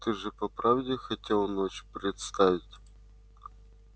ты же по правде хотел ночь представить